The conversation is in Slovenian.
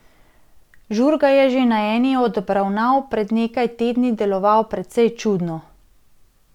Žurga je že na eni od obravnav pred nekaj tedni deloval precej čudno.